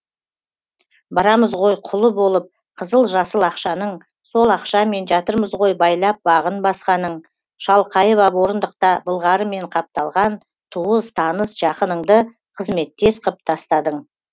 барамыз ғой құлы болып қызыл жасыл ақшаның сол ақшамен жатырмыз ғой байлап бағын басқаның шалқайып ап орындықта былғарымен қапталған туыс таныс жақыныңды қызметтес қып тастадың